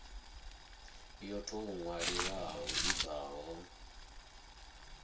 yo tou ṅwaliwaho i bvaho